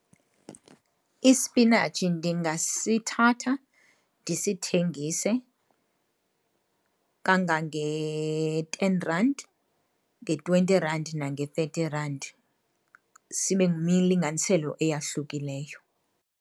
Ispinatshi ndingasithatha ndisithengise kangange-ten rand, nge-twenty rand nange-thirty rand. Sibe ngummilinganiselo eyahlukileyo.